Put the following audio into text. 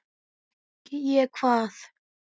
Fékk ég hvað?